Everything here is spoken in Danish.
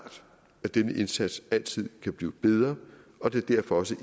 at denne indsats altid kan blive bedre og det er derfor også